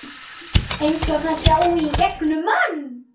Eins og það sjái í gegnum mann.